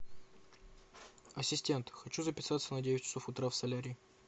ассистент хочу записаться на девять часов утра в солярий